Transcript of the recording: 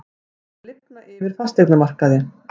Það er að lifna yfir fasteignamarkaði